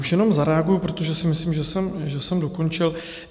Už jenom zareaguji, protože si myslím, že jsem dokončil.